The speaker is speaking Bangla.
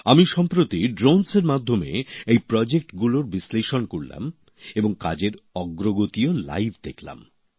আমি সম্প্রতি ড্রোনের মাধ্যমে এই প্রকল্পগুলির বিশ্লেষণ করলাম এবং কাজের অগ্রগতিও সরাসরি দেখলাম